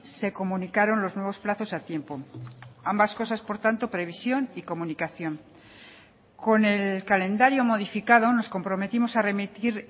se comunicaron los nuevos plazos a tiempo ambas cosas por tanto previsión y comunicación con el calendario modificado nos comprometimos a remitir